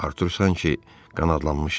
Artur sanki qanadlanmışdı.